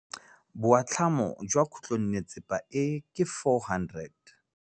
Boatlhamô jwa khutlonnetsepa e, ke 400.